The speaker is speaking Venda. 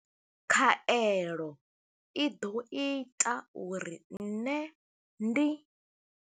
Khaelo i ḓo ita uri nṋe ndi.